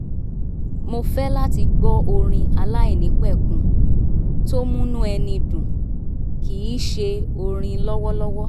mo fẹ́ láti gbọ́ orin aláìnípẹ̀kun tó múnú ẹni dùn kì í ṣe orin lọ́wọ́lọ́wọ́